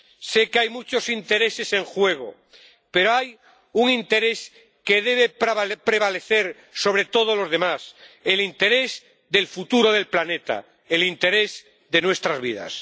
Sé que hay muchos intereses en juego, pero hay un interés que debe prevalecer sobre todos los demás el interés del futuro del planeta, el interés de nuestras vidas.